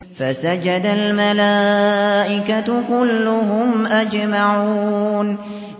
فَسَجَدَ الْمَلَائِكَةُ كُلُّهُمْ أَجْمَعُونَ